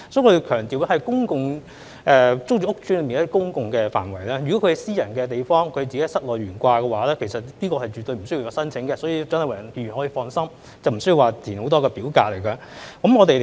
我要強調這是指公共租住屋邨內的公共範圍；如果是私人地方，市民在自己的室內懸掛，其實是絕對不需要申請的，所以蔣麗芸議員可以放心，市民無須填寫很多表格。